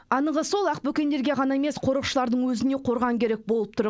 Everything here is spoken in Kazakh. анығы сол ақбөкендерге ғана емес қорықшылардың өзіне қорған керек болып тұр